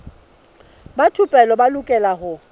ba thupelo ba lokela ho